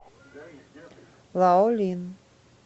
лаолин